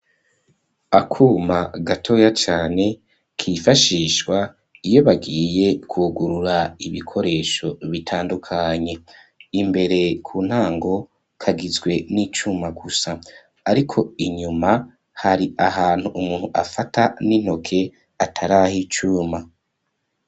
Akuma gatoya cane, kifashishwa, iyo bagiye kwugurura, ibikoresho bitandukanye; imbere ku ntango, kagizwe n'icuma gusa, ariko inyuma, hari ahantu, umuntu afata n'intoke, atari ah'icuma.